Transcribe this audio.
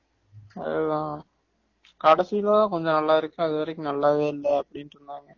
அதுதான் கடைசில தான் கொஞ்சம் நல்லா இருக்கு அது வரைக்கும் நல்லாவே இல்ல அப்படின்டு சொன்னான்